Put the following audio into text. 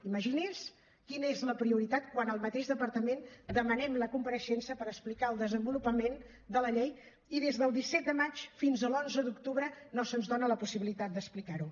imagini’s quina és la prioritat quan al mateix departament demanem la compareixença per explicar el desenvolupament de la llei i des del disset de maig fins a l’onze d’octubre no se’ns dona la possibilitat d’explicar ho